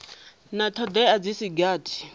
na thodea dzi si gathi